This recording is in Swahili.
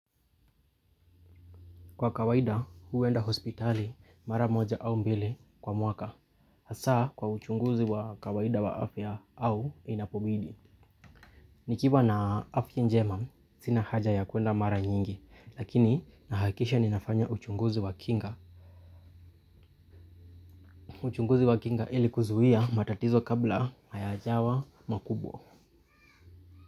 Kwa kawaida, huwenda hospitali mara moja au mbili kwa mwaka. Hasaa kwa uchunguzi wa kawaida wa afya au inapobidi. Nikiwa na afya njema, sina haja ya kuenda mara nyingi. Lakini, nahakisha ninafanya uchunguzi wa kinga. Uchunguzi wa kinga ili kuzuia matatizo kabla hayajawa makubwa.